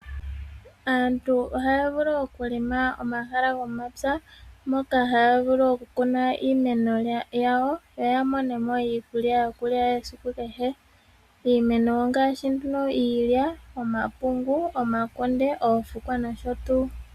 Aantu ohaya vulu oku helela omahala gomapya moka haya vulu oku kuna iimeno yawo yo ya mone mo iikulya yokulya yesiku kehe iimeno ongaashi iilya, omapungu, omakunde, oofukwa nosho tuu.